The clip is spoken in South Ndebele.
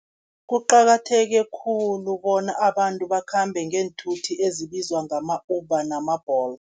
Kuqakatheke khulu bona abantu bakhambe ngeenthuthi ezibizwa ngama-Uber nama-Bolt.